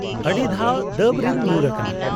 -ᱟᱹᱰᱤᱫᱷᱟᱣ ᱫᱟᱹᱵᱽ ᱨᱤᱧ ᱧᱩᱨ ᱟᱠᱟᱱᱟ ᱾